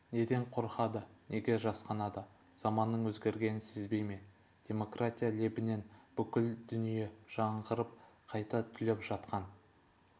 неден қорқады неге жасқанады заманның өзгергенін сезбей ме демократия лебінен бүкіл дүние жаңғырып қайта түлеп жатқан